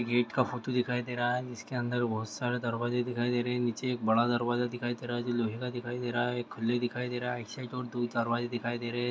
Gate का photo दिखाई दे रहा है। जिसके अंदर एक बहुत सारे दरवाजे दिखाई दे रहे हैं। नीचे एक बड़ा दरवाजा दिखाई दे रहा है। जो लोहे का दिखाई दे रहा है। एक खुले दिखाई दे रहा है एक साइड और दो दरवाजे दिखाए दे रहा हैं।